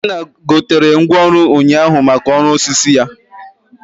Ikenna gotere ngwaọrụ ụnyaahụ maka ọrụ osisi ya